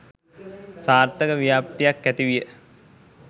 සාර්ථක ව්‍යාප්තියක් ඇතිවිය.